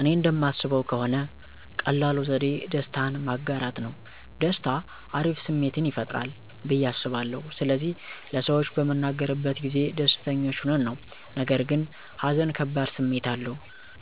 እኔ እንደማስበው ከሆነ ቀላሉ ዘዴ ደስታን ማጋራት ነው። ደስታ አሪፍ ስሜትን ይፈጥራል ብዬ አስባለሁ ስለዚህ ለሰዎች በምንናገርበት ጊዜ ደስተኞች ሆነን ነው። ነገርግን ሃዘን ከባድ ስሜት አለው፤